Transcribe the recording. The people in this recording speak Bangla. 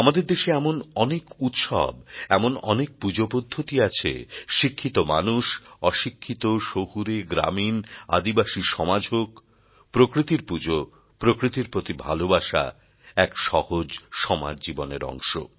আমাদের দেশে এমন অনেক উৎসব এমন অনেক পূজাপদ্ধতি আছে শিক্ষিত মানুষ অশিক্ষিত শহুরে গ্রামীন আদিবাসী সমাজ হোক প্রকৃতির পূজা প্রকৃতির প্রতি ভালোবাসা এক সহজ সমাজজীবনের অংশ